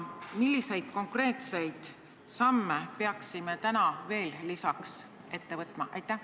Milliseid konkreetseid samme peaksime täna veel astuma?